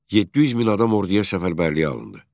700 min adam orduya səfərbərliyə alındı.